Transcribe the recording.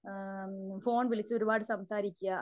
ആഹ് phone വിളിച്ച് ഒരുപാട് സംസാരിക്യാ